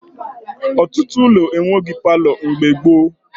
Ọtụtụ ụlọ enweghi palọ mgbe gboo